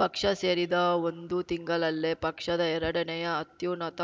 ಪಕ್ಷ ಸೇರಿದ ಒಂದು ತಿಂಗಳಲ್ಲೇ ಪಕ್ಷದ ಎರಡನೇಯ ಅತ್ಯುನ್ನತ